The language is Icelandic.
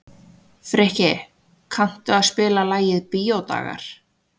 Frikki, kanntu að spila lagið „Bíódagar“?